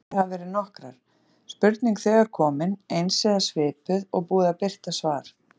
Ástæður hafa verið nokkrar: Spurning þegar komin, eins eða svipuð, og búið að birta svar.